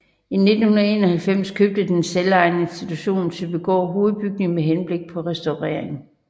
I 1991 købte den selvejende institution Søbygård hovedbygningen med henblik på restaurering